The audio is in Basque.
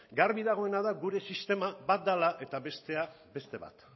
garbi dagoena da gure sistema bat dela eta bestea beste bat